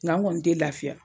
Nga an kɔni tɛ lafiya.